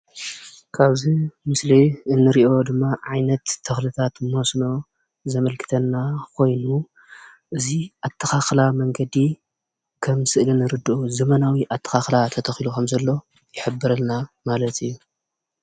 ካብዚ ምስሊ እንሪኦ ድማ ዓይነት ተክልታት መስኖ ዘመልክተና ኮይኑ እዚ ኣተካክላ መንገዲ ከም ስእሊ ንርድኦ ዘመናዊ ኣተካክላ ተተኪሉ ከም ዘሎ ይሕብረልና ማለት እዩ።